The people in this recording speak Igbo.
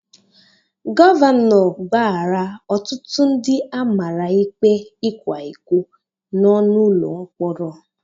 Gọvanọ gbaghaara ọtụtụ ndị amara ikpe ịkwa iko nọ n'ụlọ mkpọrọ.